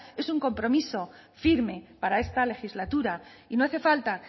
es un compromiso firme para esta legislatura y no hace falta